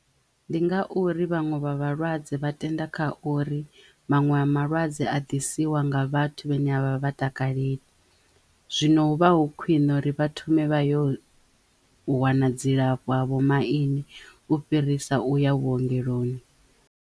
Ndi ngauri vhanwe vha vhalwadze vha tenda kha uri manwe a malwadze a ḓisiwa nga vhathu vhane a vha vha takaleli zwino hu vha hu khwine uri vha thome vha yo wana dzilafho ha vho maine u fhirisa u ya vhuongeloni